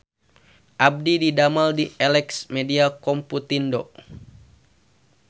Abdi didamel di Elex Media Komputindo